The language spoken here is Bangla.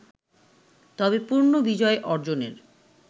তবে পূর্ণ বিজয় অর্জনের